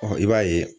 i b'a ye